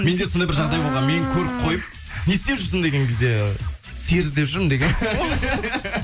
менде сондай бір жағдай болған мені көріп қойып не істеп жүрсің деген кезде сиыр іздеп жүрмін дегенмін